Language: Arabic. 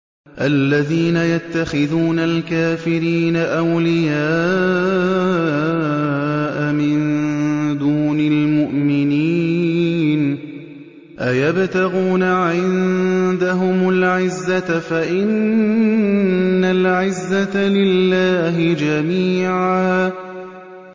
الَّذِينَ يَتَّخِذُونَ الْكَافِرِينَ أَوْلِيَاءَ مِن دُونِ الْمُؤْمِنِينَ ۚ أَيَبْتَغُونَ عِندَهُمُ الْعِزَّةَ فَإِنَّ الْعِزَّةَ لِلَّهِ جَمِيعًا